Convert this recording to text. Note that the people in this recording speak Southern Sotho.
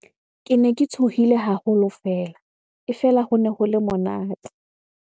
Kene ke tshohile haholo fela. E fela, hone ho le monate.